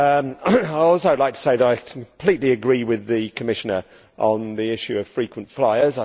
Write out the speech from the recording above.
I would also like to say that I completely agree with the Commissioner on the issue of frequent flyers.